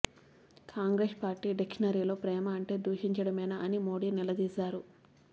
Congress party డిక్షనరీలో ప్రేమ అంటే దూషించడమేనా అని మోదీ నిలదీశారు